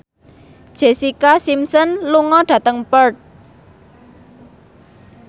Jessica Simpson lunga dhateng Perth